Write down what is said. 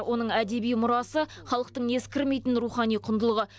оның әдеби мұрасы халықтың ескірмейтін рухани құндылығы